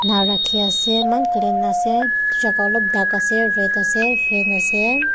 rakhiase eman clean ase jaka olop dark ase red ase fan ase.